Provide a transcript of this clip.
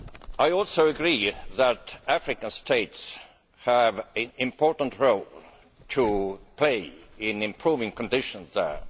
I also agree that African states have an important role to play in improving conditions there.